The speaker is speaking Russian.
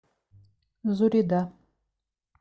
зурида